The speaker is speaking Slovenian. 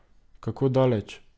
Kako daleč?